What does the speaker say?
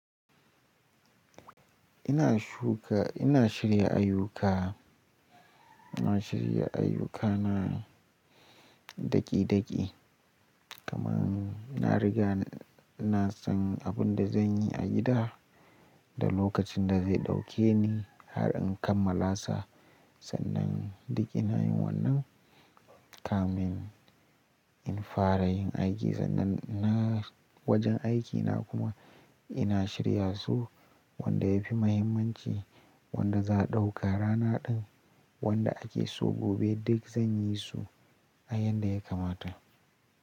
Ina shuka, ina shirya ayyuka, ina shirya ayyukana daƙi-daƙi. Kaman na riga, ina san abin da zan yi a gida da lokacin da zai ɗauke ni har in kammala sa. Sannan duk ina yin wannan, kamin in fara yin aiki. Sannan na wajen aikina kuma ina shirya su wanda ya fi mahimmanci, wanda za a ɗauka rana ɗin, wanda ake so gobe. Duk zan yi su a yadda ya kamata.